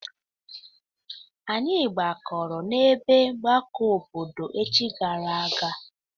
Anyị gbakọrọ n'ebe ọgbakọ obodo echi gara aga.